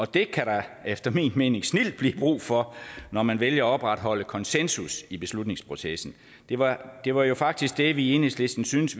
det kan der efter min mening snildt blive brug for når man vælger at opretholde konsensus i beslutningsprocessen det var det var jo faktisk det vi i enhedslisten syntes